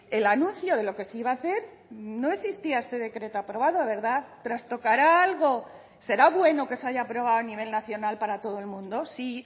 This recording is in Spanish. el anuncio de lo que se iba a hacer no existía este decreto aprobado verdad trastocará algo será bueno que se haya aprobado a nivel nacional para todo el mundo sí